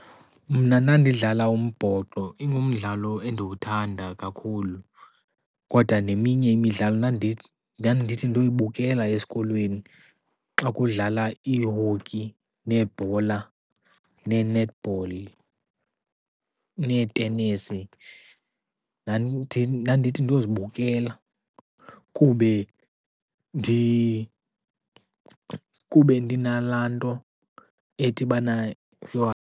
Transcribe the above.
Mna ndandidlala umbhoxo ingumdlalo endiwuthanda kakhulu. Kodwa neminye imidlalo ndandithi ndoyibukela esikolweni xa kudlala ii-hockey, nebhola, nee-netball, netenesi ndandithi ndozibukela kube ndinala nto ethi bana .